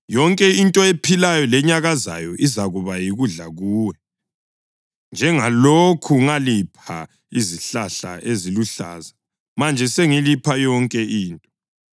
Yonke into ephilayo lenyakazayo izakuba yikudla kuwe. Njengalokhu ngalipha izihlahla eziluhlaza, manje sengilipha yonke into.